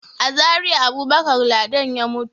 A Zariya Abubakar Ladan ya mutu.